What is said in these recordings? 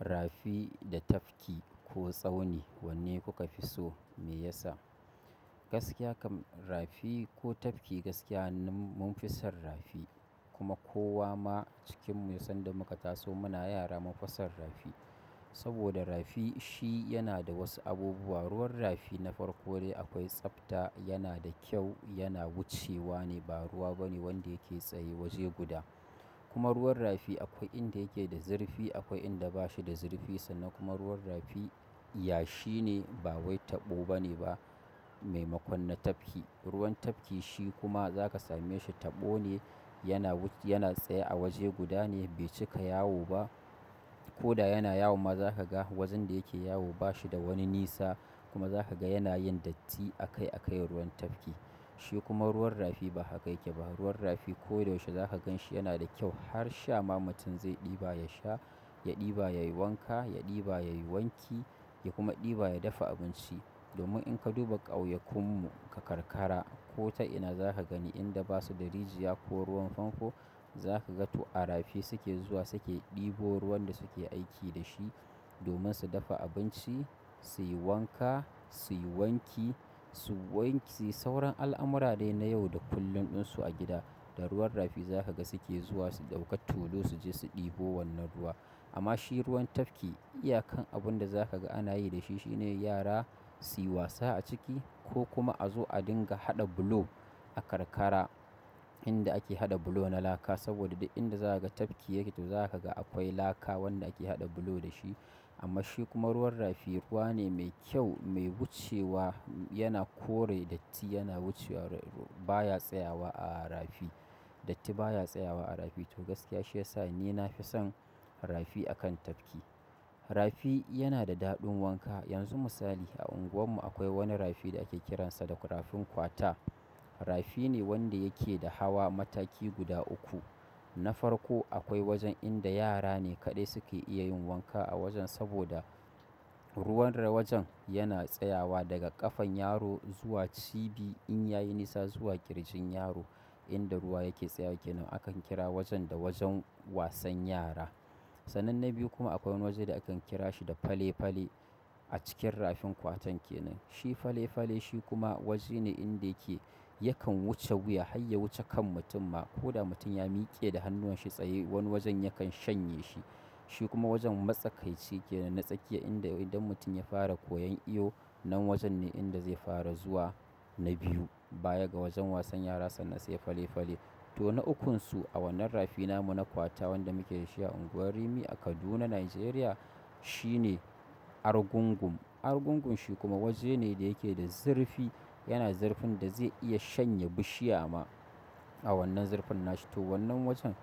Rafi da tafki ko tsauni wanne kuka fi so me yasa? Gaskiya kam rafi ko tafki gaskiya hannun mun son rafi kuma kowa ma cikinmu ya san da muka taso muna yara mun son rafi. Saboda rafi shi yana da wasu abubuwa, ruwan rafi na farko dai akwai tsafta yana da kyau yana wucewa ne ba ruwa bane wanda yake tsaye waje guda. Kuma ruwan rafi akwai inda yake da zurfi akwai inda bashi da zurfi sannan kuma ruwan rafi yashi ne ba wai taɓo bane ba maimakon na tafki ruwan tafki shi kuma za ka same shi tabo ne yana tsaye a waje guda ne bai cika yawo ba. Ko da yana yawon ma za ka ga wajen da yake yawo ba shi da wani nisa kuma za ka ga yana yin datti a kai a kai ruwan tafki. Shi kuma ruwan rafi ba haka yake ba, ruwan rafi ko da yaushe za ka gan shi yana da kyau har sha ma mutun za ɗiba ya sha ya diba yayi wanka ya ɗiba ya kuma dafa abinci domin in ka duba ƙauyakun mu a karkara ko ta ina za ka gani inda basu da rijiya ko ruwan fanfo za ka ga to a rafi suke zuwa suke ɗibo ruwan da suke aiki da shi domin su dafa abinci, suyi wanka suyi wanki suyi sauran al'amuran dai na yau da kullun ɗin su a gida. Da ruwan rafi za ka ga suke zuwa su ɗauka tulu su je su ɗibo wannan ruwa. Amma shi ruwan tafki iya kan abun da za ka ga ana yi da shi shine yara su yi wasa a ciki ko kuma a zo a dinga haɗa bulo a karkara inda ake haɗa bulo na laka saboda da inda za ka ga tafki yake to za ka ga akwai laka wanda ake haɗa bulo da shi. Amma shi kuma ruwan rafi ruwa ne mai kyau mai wucewa yana kore datti yana wucewa baya tsayawa a rafi datti baya tsayawa a rafi. To gaskiya shi ya sa ni na fi son rafi akan tafki. Rafi yana da daɗin wanka yanzu misali a unguwar mu akwai wani rafi da ake kiransa da rafin kwata. Rafi ne wanda yake da hawa mataki guda uku. Na farko akwai wajen inda yara ne kaɗai suke iya yin wanka a wajen saboda ruwan wajen yana tsayawa daga ƙafan yaro zuwa cibi in ya yi nisa zuwa ƙirjin yaro inda ruwa yake tsayawa kenan. Akan kira wajen da wajen wasan yara. Sanan na biyu kuma akwai wajen da akan kira shi da fale fale a cikin rafin ƙwatan kenan. Shi fale fale shi kuma waje ne inda yake yakan wuce wuya har ya wuce kan mutum ma ko da mutum ya miƙe da hannuwan shi tsaye wani wajen yakan shanye shi. Shi kuma wajen matsakaici kenan. Na tsakiya inda idan mutum ya fara koyon iyo nan wajen ne inda zai fara zuwa na biyu baya ga wajen wasan yara sannan sai fale fale. To na ukunsu a wannan rafi na mu na ƙwata wanda muke da shi a unguwar Rimi a Kaduna, Najeriya shi ne argungum. Argungum shi kuma waje ne da yake da zurfi yana zurfin da zai iya shanye bishiya ma a wannan zurfin na shi. To wannan wajen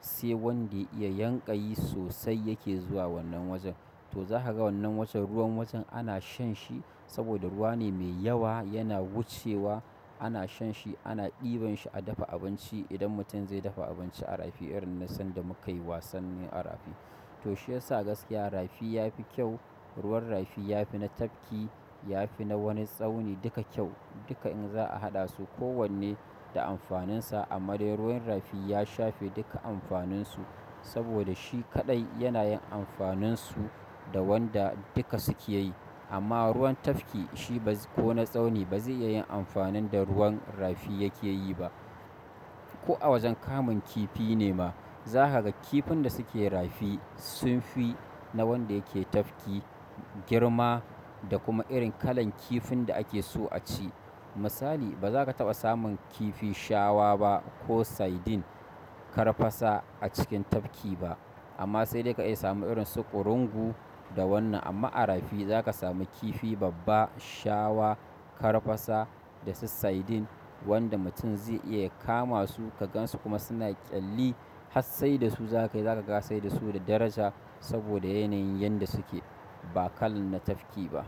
sai wanda ya yanƙayi sosai yake zuwa wannan wajen. To za ka ga wannan wajen ruwan wajen ana shan shi saboda ruwa ne mai yawa yana wucewa ana shan shi ana ɗiban shi a dafa abinci idan mutum zai dafa abinci a rafi irin na sanda muka yi wasan ne a rafi. Toh, shi yasa gaskiya rafi yafi kyau ruwan rafi yafi na tafki yafi na wani tsauni dukka kyau duka in za'a haɗa su ko wane da amfanin sa. Amma dai ruwan rafi ya shafe duka amfanin su saboda shi kaɗai yana yin amfanin su da wanda duka suke yi. Amma ruwan tafki shi ba ko na tsauni ba zai iya yin amfanin da ruwan rafi yake yi ba. Ko a wajen kamun kifi ne ma za ka ga kifin da suke rafi sun fi na wanda yake tafki girma da kuma irin kalan kifin da ake so a ci. Misali ba za ka taɓa samun kifi shawa ba ko saidin, karfasa a cikin tafki ba. Amma sai dai ka iya samun irin su ƙurungu da wannan amma a rafi za ka sami kifi babba, shawa, karfasa da su saidin wanda mutum zai iya kama su ka gan su kuma suna ƙyalli har saida su zaka ga ya saida su da daraja saboda yanayin yanda su ke ba kalan na tafki ba.